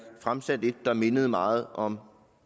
fremsat et der mindede meget om